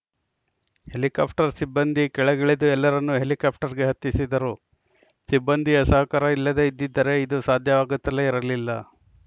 helicopter ಸಿಬ್ಬಂದಿ ಕೆಳಗಿಳಿದು ಎಲ್ಲರನ್ನೂ ಹೆಲಿಕಾಪ್ಟರ್‌ಗೆ ಹತ್ತಿಸಿದರು ಸಿಬ್ಬಂದಿಯ ಸಹಕಾರ ಇಲ್ಲದೇ ಇದ್ದಿದ್ದರೆ ಇದು ಸಾಧ್ಯವಾಗುತ್ತಲೇ ಇರಲಿಲ್ಲ